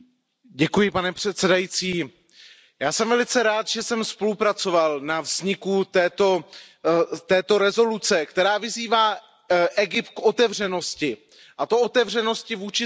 Pane předsedající, já jsem velice rád, že jsem spolupracoval na vzniku této rezoluce, která vyzývá Egypt k otevřenosti, a to otevřenosti vůči světu.